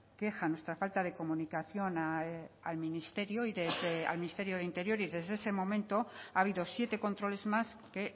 queja nuestra falta de comunicación al ministerio al ministerio de interior y desde ese momento ha habido siete controles más que